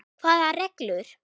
Hvaða reglur?